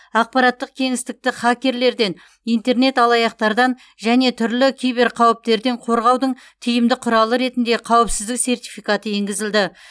ақпараттық кеңістікті хакерлерден интернет алаяқтардан және түрлі киберқауіптерден қорғаудың тиімді құралы ретінде қауіпсіздік сертификаты енгізілді